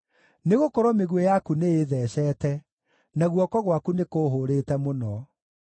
Nĩgũkorwo mĩguĩ yaku nĩĩtheceete, na guoko gwaku nĩ kũũhũrĩte mũno.